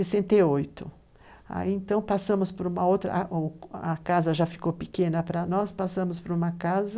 Então, passamos por uma outra... A casa já ficou pequena para nós, passamos por uma casa,